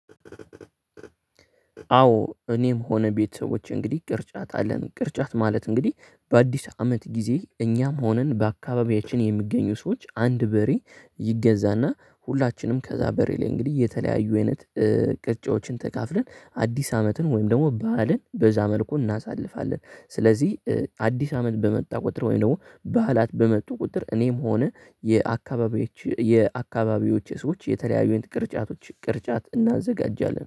አዎ እኔም ሆነ ቤተሰቦቼ እንግዲህ ቅርጫት አለን። ቅርጫት ማለት እንግዲህ በአዲስ አመት ጊዜ እኛም ሆነን በአካባቢያችን የሚገኙ ሰዎች አንድ በሬ ይገዛና ሁላችንም ከዛ በሬ ላይ እንግዲህ የተለያዩ አይነት ቅርጫዎችን ተካፍለን አዲስ አመትን ወይም ደግሞ በዓልን በዛ መልኩ እናሳልፋለን። ስለዚህ አዲስ አመት በመጣ ቁጥር ወይም ደግሞ በዓላት በመጡ ቁጥር እኔም ሆነ። የአካባቢዎቼ ሰዎች የተለያዩ አይነት ቅርጫቶች ቅርጫት እናዘጋጃለን